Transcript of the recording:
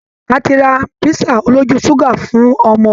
A ti ra písà olójú ṣúgà fún ọmọ